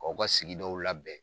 Kaw ka sigi dɔw labɛn.